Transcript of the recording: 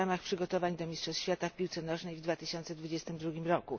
w ramach przygotowań do mistrzostw świata w piłce nożnej w 2022 r.